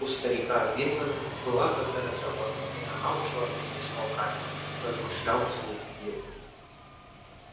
у старика виллэна была когда то собака и она ушла вместе с волками размышлял вслух билл